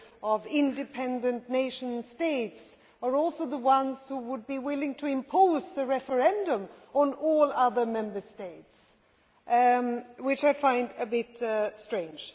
of independent nation states are also the ones who would be willing to impose a referendum on all other Member States, which I find a bit strange.